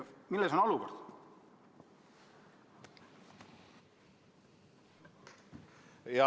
Milles on asi?